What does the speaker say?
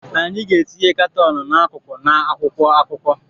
Anyị ga-etinye katuun n'akụkụ n'akwụkwọ akụkọ.